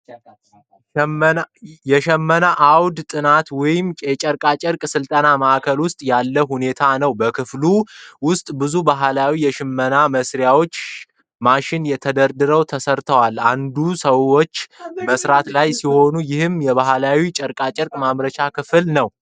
የሽመና አውደ ጥናት ወይም የጨርቃጨርቅ ሥልጠና ማዕከል ውስጥ ያለ ሁኔታ ነው። በክፍሉ ውስጥ ብዙ ባህላዊ የሽመና መሣሪያዎች (ማሽን) ተደርድረው ተሰርተዋል። አንዳንድ ሰዎች በመሥራት ላይ ሲሆኑ፣ ይህም የባህላዊ ጨርቆችን ማምረቻ ክፍል ነው።